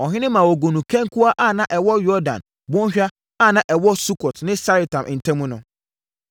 Ɔhene ma wɔguu no kankua a na ɛwɔ Yordan bɔnhwa a na ɛwɔ Sukot ne Saretan ntam no mu.